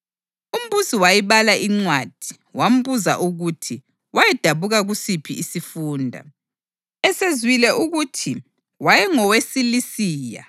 Umbusi wayibala incwadi wambuza ukuthi wayedabuka kusiphi isifunda. Esezwile ukuthi wayengoweSilisiya,